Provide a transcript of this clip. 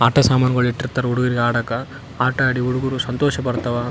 ಆಟಸಾಮಾನ್ ಗುಳ್ ಇಟ್ಟಿರ್ತಾರ ಹುಡುಗರ್ಗ ಆಡಕ್ಕಾ ಆಟಾಡಿ ಹುಡುಗ್ರು ಸಂತೋಷ ಪಡ್ತಾವ.